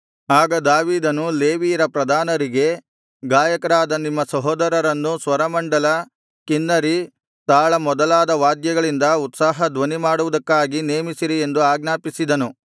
ಆಗ ದಾವೀದನು ಲೇವಿಯರ ಪ್ರಧಾನರಿಗೆ ಗಾಯಕರಾದ ನಿಮ್ಮ ಸಹೋದರರನ್ನು ಸ್ವರಮಂಡಲ ಕಿನ್ನರಿ ತಾಳ ಮೊದಲಾದ ವಾದ್ಯಗಳಿಂದ ಉತ್ಸಾಹಧ್ವನಿ ಮಾಡುವುದಕ್ಕಾಗಿ ನೇಮಿಸಿರಿ ಎಂದು ಆಜ್ಞಾಪಿಸಿದನು